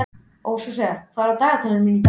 Hóseas, hvað er í dagatalinu í dag?